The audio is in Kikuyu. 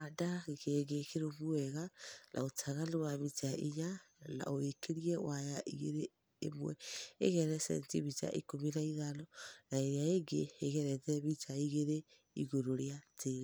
handa gĩkĩngĩ kĩrũmũ wega na ũtaganũ wa mĩta ĩnya na ũkĩrĩe waya ĩgĩrĩ ĩmwe ĩgerete sentĩmĩta ĩkũmĩ na ĩthano na ĩrĩa ĩngĩ ĩgerete mĩta ĩgĩrĩ ĩgũrũ rĩa tĩĩrĩ